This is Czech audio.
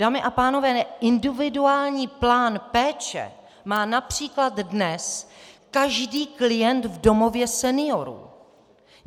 Dámy a pánové, individuální plán péče má například dnes každý klient v domově seniorů!